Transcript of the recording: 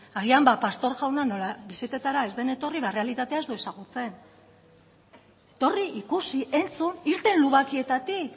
agian pastor jauna nola bisitetara ez den etorri errealitatea ez du ezagutzen etorri ikusi entzun irten lubakietatik